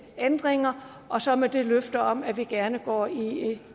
ændringer og så med det løfte om at vi gerne går i